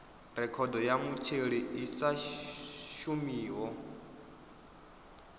rekhodo ya mutheli i sa shumiho